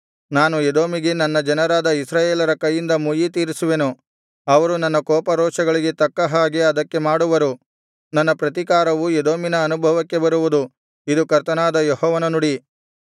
ನಾನು ಎದೋಮಿಗೆ ನನ್ನ ಜನರಾದ ಇಸ್ರಾಯೇಲರ ಕೈಯಿಂದ ಮುಯ್ಯಿ ತೀರಿಸುವೆನು ಅವರು ನನ್ನ ಕೋಪರೋಷಗಳಿಗೆ ತಕ್ಕ ಹಾಗೆ ಅದಕ್ಕೆ ಮಾಡುವರು ನನ್ನ ಪ್ರತಿಕಾರವು ಎದೋಮಿನ ಅನುಭವಕ್ಕೆ ಬರುವುದು ಇದು ಕರ್ತನಾದ ಯೆಹೋವನ ನುಡಿ